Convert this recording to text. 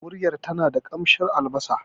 Miyar tana da ƙamshin albasa.